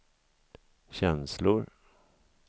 känslor